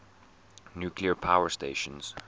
nuclear power stations